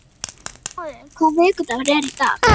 Arnmóður, hvaða vikudagur er í dag?